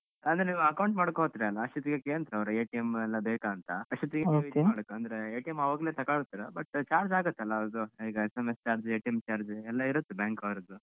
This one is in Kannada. ಅಂದ್ರೆ ನೀವ್ account ಮಾಡೋಕ್ಕ್ ಹೋತ್ರಿ ಅಲ್ಲ, ಅಸ್ಟೊತ್ತಿಗೆ ಕೇಂತ್ರವರು ಎಲ್ಲ ಬೇಕಾಂತ ಅಸ್ಟೊತ್ತಿಗೆ ನೀವ್ ಹಿಂಗ್ ಮಾಡ್ಬೇಕು ಅಂದ್ರೆ ಅವಾಗ್ಲೆ ತಗೊಳ್ತೀರ but charge ಆಗ್ತಾಲ್ಲ ಅದು ಈಗ SMS charge charge ಎಲ್ಲ ಇರುತ್ತೆ bank ಅವರದ್ದು.